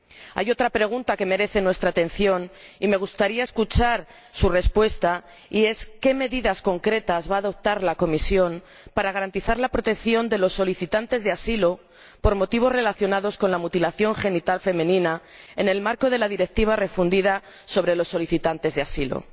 Hay otra pregunta que merece nuestra atención y a la que me gustaría escuchar su respuesta, que es ¿qué medidas concretas va a adoptar la Comisión para garantizar la protección de los solicitantes de asilo por motivos relacionados con la mutilación genital femenina, en el marco de la Directiva refundida sobre los solicitantes de asilo?